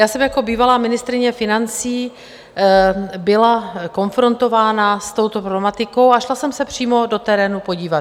Já jsem jako bývalá ministryně financí byla konfrontována s touto problematikou a šla jsem se přímo do terénu podívat.